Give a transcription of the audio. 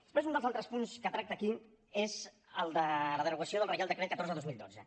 després un dels altres punts que es tracta aquí és el de la derogació del reial decret catorze dos mil dotze